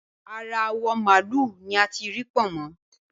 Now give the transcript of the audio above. Ara awọ̀ màálù ni a tí Pọ̀nmọ́